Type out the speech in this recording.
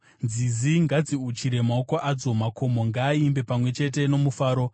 Nzizi ngadziuchire maoko adzo, makomo ngaaimbe pamwe chete nomufaro;